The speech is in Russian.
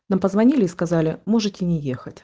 мы позвонили и сказали можете не ехать